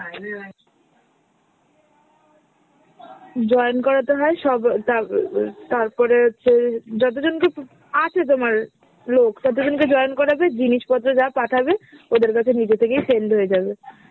join করাতে হয় সব তাব~ তারপরে তোর যতজনকে পপ~ আছে তোমার লোক ততোজনকে join করাবে, জিনিসপত্র যা পাঠাবে ওদের কাছে নিজে থেকেই send হয়ে যাবে।